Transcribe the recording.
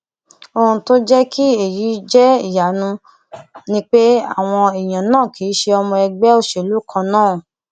ohun tó jẹ kí èyí jẹ ìyanu ni pé àwọn èèyàn náà kì í ṣe ọmọ ẹgbẹ òṣèlú kan náà